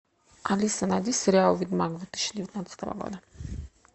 алиса найди сериал ведьмак две тысячи девятнадцатого года